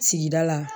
Sigida la